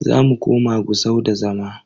Zamu koma Gusau da zama.